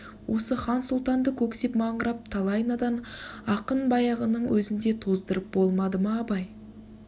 осы хан-сұлтанды көксеп маңырап талай надан ақын баяғының өзінде тоздырып болмады ма абай